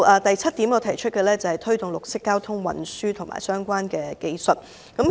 第七點，是推動綠色交通運輸工具及相關技術。